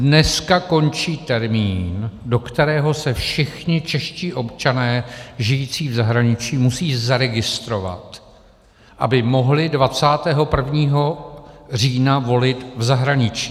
Dneska končí termín, do kterého se všichni čeští občané žijící v zahraničí musí zaregistrovat, aby mohli 21. října volit v zahraničí.